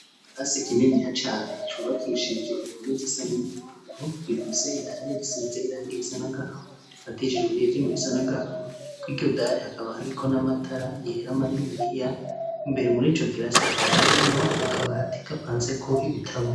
Ikirasi kininiya cane cubakishije impome zisa n'umuhondo ,gifise idari risize irangi risa n'agahama rifatishijwe n'ivyuma bisa n'agahama, kw'iryo dari hakaba hariko n'amatara yera maniniya ,imbere mur'ico kirasi hakaba hariyo akabati gapanzeko ibitabo.